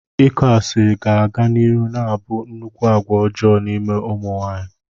Ịkọ asịrị ga-aga n'ihu na-abụ nnukwu agwa ọjọọ n'ime ụmụ nwaanyị.